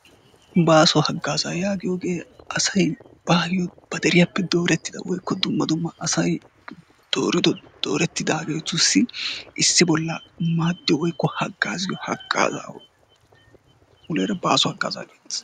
Baaso haagazaa yaagiyoogee asay baayoo ba deriyaappe doorettida woykko dumma dumma asay doorin doorettidaagetussi issi bolla maaddiyoo woykko haagaazziyoo hagazaa. Muleera baaso haaggazaa geettees.